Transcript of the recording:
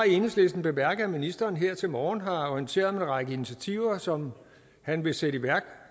enhedslisten bemærket at ministeren her til morgen har orienteret om en række initiativer som han vil sætte i værk